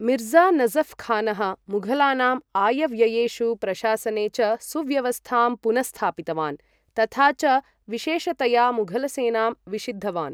मिर्ज़ा नजफ् खानः मुघलानाम् आयव्ययेषु प्रशासने च सुव्यवस्थां पुनस्स्थापितवान् तथा च विशेषतया मुघलसेनां विशिद्धवान्।